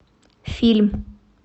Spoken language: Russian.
фильм